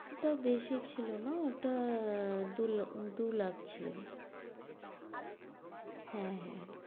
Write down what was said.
ওটা বেশি ছিল না, ওটা দুল~ দু' লাখ ছিল। হ্যাঁ হ্যাঁ হ্যাঁ।